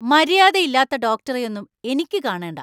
മര്യാദയില്ലാത്ത ഡോക്ടറെയൊന്നും എനിക്ക് കാണേണ്ട.